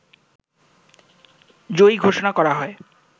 জয়ী ঘোষণা করা হয়